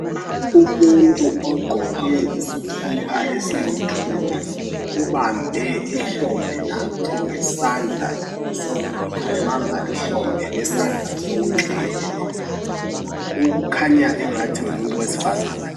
Umuntu ogqoke isikipa esiluthuli ubambe ihlombe lakhe ngesandla sokudla ebamba ihlombe lesandla sokunxele okukhanya engathi ngumuntu wesifazana.